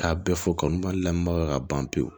K'a bɛɛ fɔ kanu ma lamunpau ka ban pewu